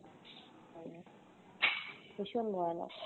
ভীষণ ভয় লাগছে।